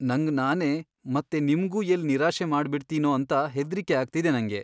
ನಂಗ್ ನಾನೇ ಮತ್ತೆ ನಿಮ್ಗೂ ಎಲ್ಲ್ ನಿರಾಶೆ ಮಾಡ್ಬಿಡ್ತೀನೋ ಅಂತ ಹೆದ್ರಿಕೆ ಆಗ್ತಿದೆ ನಂಗೆ.